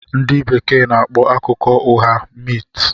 Ndị Bekee n'akpọ akụkọ ụgha 'myth'